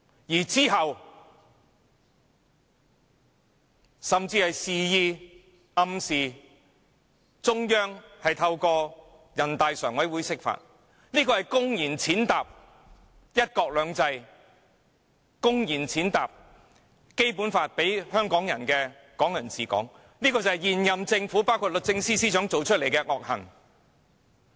其後，他甚至示意或暗示中央透過人大常委會釋法，公然踐踏"一國兩制"及《基本法》賦予港人的"港人治港"，這就是現任政府包括律政司司長作出的惡行。